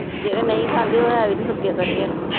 ਜਿਹੜੇ ਨਹੀਂ ਖਾਂਦੇ ਉਹ ਹੈ ਵੀ ਤਾ ਸੁੱਕੇ ਸੜੇ ਆ ਨਾ।